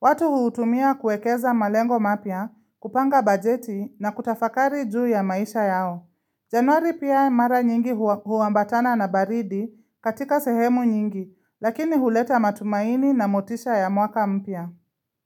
Watu huutumia kuekeza malengo mapya, kupanga bajeti na kutafakari juu ya maisha yao. Januari pia mara nyingi huwambatana na baridi katika sehemu nyingi, lakini huleta matumaini na motisha ya mwaka mpya.